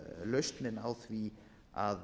lausnin á því að